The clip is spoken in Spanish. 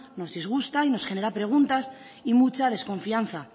nos disgusta y nos genera preguntas y mucha desconfianza